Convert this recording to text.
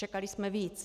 Čekali jsme víc.